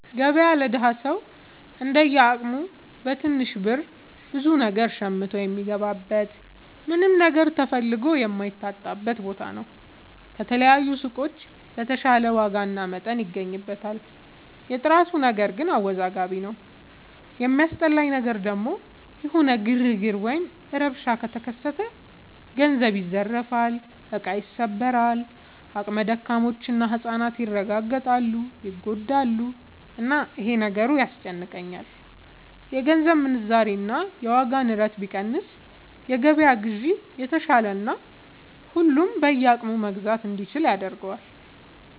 ገበያ ለደሀ ሰው እንደየ አቅሙ በትንሽ ብር ብዙ ነገር ሸምቶ የሚገባበት ምንም ነገር ተፈልጎ የማይታጣበት ቦታ ነው። ከተለያዩ ሱቆች በተሻለ ዋጋና መጠን ይገበይበታል። የጥራቱ ነገር ግን አወዛጋቢ ነው። የሚያስጠላኝ ነገር ደግሞ የሆነ ግርግር ወይም ረብሻ ከተከሰተ ገንዘብ ይዘረፋል፣ እቃ ይሰበራል፣ አቅመ ደካሞች እና ህፃናት ይረጋገጣሉ (ይጎዳሉ)፣እና ይሄ ነገሩ ያስጨንቀኛል። የገንዘብ ምንዛሬ እና የዋጋ ንረት ቢቀንስ የገበያ ግዢ የተሻለና ሁሉም በየአቅሙ መግዛት እንዲችል ያደርገዋል።